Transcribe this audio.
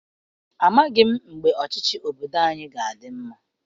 Amaghị m mgbe ọchịchị obodo anyị ga-adị mma.